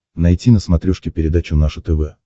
найти на смотрешке передачу наше тв